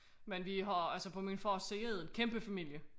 Men vi har altså på min fars side en kæmpe familie